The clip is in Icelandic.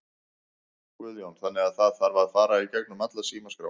Guðjón: Þannig að það þarf að fara í gegnum alla símaskrána?